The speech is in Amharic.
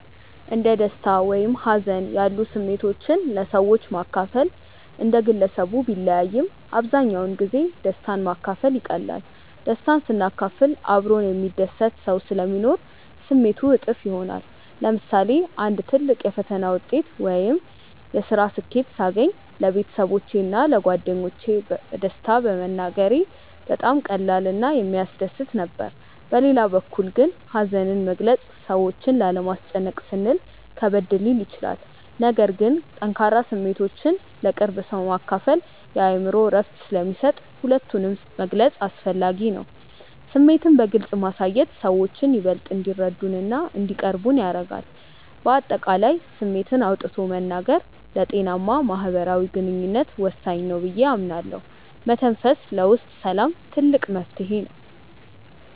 እንደ ደስታ ወይም ሀዘን ያሉ ስሜቶችን ለሰዎች ማካፈል እንደ ግለሰቡ ቢለያይም፣ አብዛኛውን ጊዜ ደስታን ማካፈል ይቀላል። ደስታን ስናካፍል አብሮን የሚደሰት ሰው ስለሚኖር ስሜቱ እጥፍ ይሆናል። ለምሳሌ አንድ ትልቅ የፈተና ውጤት ወይም የስራ ስኬት ሳገኝ ለቤተሰቦቼ እና ለጓደኞቼ በደስታ መናገሬ በጣም ቀላል እና የሚያስደስት ነበር። በሌላ በኩል ግን ሀዘንን መግለጽ ሰዎችን ላለማስጨነቅ ስንል ከበድ ሊል ይችላል። ነገር ግን ጠንካራ ስሜቶችን ለቅርብ ሰው ማካፈል የአእምሮ እረፍት ስለሚሰጥ ሁለቱንም መግለጽ አስፈላጊ ነው። ስሜትን በግልጽ ማሳየት ሰዎችን ይበልጥ እንዲረዱንና እንዲቀርቡን ያደርጋል። በአጠቃላይ ስሜትን አውጥቶ መናገር ለጤናማ ማህበራዊ ግንኙነት ወሳኝ ነው ብዬ አምናለሁ። መተንፈስ ለውስጥ ሰላም ትልቅ መፍትሄ ነው።